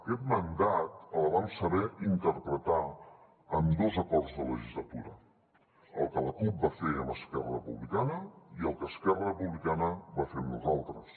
aquest mandat el vam saber interpretar amb dos acords de legislatura el que la cup va fer amb esquerra republicana i el que esquerra republicana va fer amb nosaltres